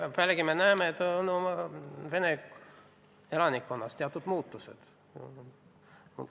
Pealegi me näeme, et vene elanikkonnas on sündinud teatud muutused.